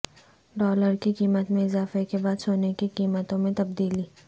dollar کی قیمت میں اضافہ کے بعد سونے کی قیمتوں میں تبدیلی